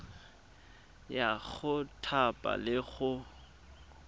ya go thapa le go